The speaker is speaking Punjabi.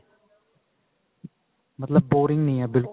ਮਤਲਬ boring ਨਹੀਂ ਏ